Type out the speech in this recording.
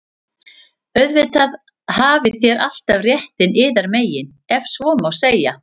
Auðvitað hafið þér alltaf réttinn yðar megin,- ef svo má segja.